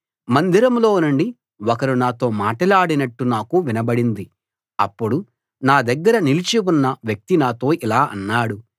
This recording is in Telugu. మందిరంలో నుండి ఒకరు నాతో మాటలాడినట్టు నాకు వినబడింది అప్పుడు నాదగ్గర నిలిచి ఉన్న వ్యక్తి నాతో ఇలా అన్నాడు